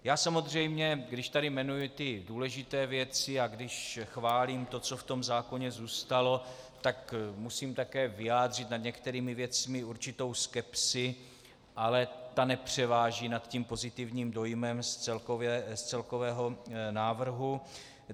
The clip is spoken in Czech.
Já samozřejmě, když tady jmenuji ty důležité věci a když chválím to, co v tom zákoně zůstalo, tak musím také vyjádřit nad některými věcmi určitou skepsi, ale ta nepřeváží nad tím pozitivním dojmem z celkového návrhu.